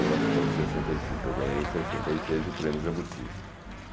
novecentos e sessenta e cinco, eu ganhei, em sessenta e seis, o prêmio Jabuti.